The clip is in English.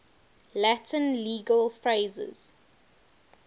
latin legal phrases